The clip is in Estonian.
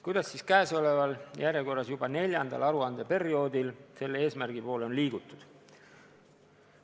Kuidas siis käesoleval, järjekorras juba neljandal aruandeperioodil selle eesmärgi poole on liigutud?